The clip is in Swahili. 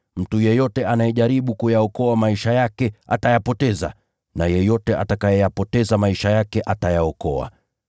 Mtu yeyote anayejaribu kuyaokoa maisha yake atayapoteza, na yeyote atakayeyapoteza maisha yake atayaokoa.